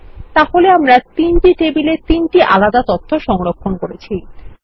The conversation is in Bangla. তাহলে আমরা তিনটি টেবিলে তিনটি আলাদা তথ্য সংরক্ষণ করেছি